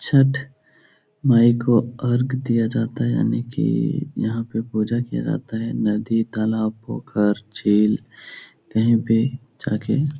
छठ मांई को अर्ग दिया जाता है यानि की यहाँ पे पूजा किया जाता है। नदी तालाब पोखर झील कही पर जाके --